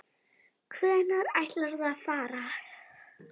Hvenær ætlarðu að fara?